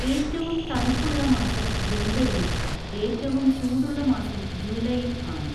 ഏറ്റവും തണുപ്പുള്ള മാസം ജനുവരിയും ഏറ്റവും ചൂടുള്ള മാസം ജൂലൈയും ആണ്.